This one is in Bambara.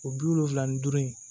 O bi wolonfila ni duuru in